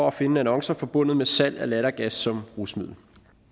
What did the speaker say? at finde annoncer forbundet med salg af lattergas som rusmiddel